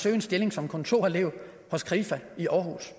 en stilling som kontorelev hos krifa i århus